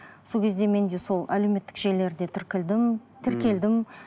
сол кезде менде сол әлеуметтік желілерде ммм тіркелдім